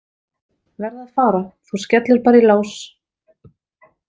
Verð að fara, þú skellir bara í lás